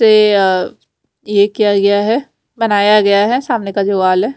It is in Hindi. ये किया गया है बनाया गया है सामने का जो वाल है।